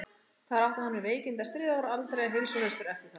Þar átti hann við veikindi að stríða og var aldrei heilsuhraustur eftir það.